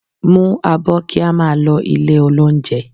Mú abọ́ kí a máa lọ ilé-olóunjẹ